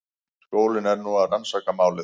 Skólinn er nú að rannsaka málið